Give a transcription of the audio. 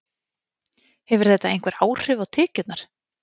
Hefur þetta einhver áhrif á tekjurnar?